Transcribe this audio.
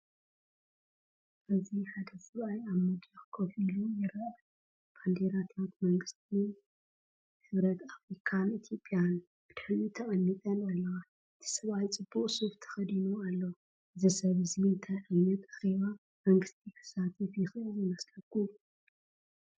ኣብዚ ሓደ ሰብኣይ ኣብ መድረክ ኮፍ ኢሉ ይርአ። ባንዴራታት መንግስትን ሕብረት ኣፍሪካን ኢትዮጵያን ብድሕሪኡ ተቐሚጠን ኣለዋ። እቲ ሰብኣይ ፅቡቅ ሱፍ ተኸዲኑ ኣሎ። እዚ ሰብ እዚ እንታይ ዓይነት ኣኼባ መንግስቲ ክሳተፍ ይኽእል ይመስለኩም?